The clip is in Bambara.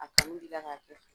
A kun b'i la ka kɛ.